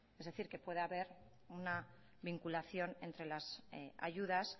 es decir que pueda haber una vinculación entre las ayudas